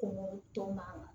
Ko to maa ma